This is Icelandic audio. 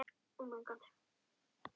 Sigga stumrar yfir henni.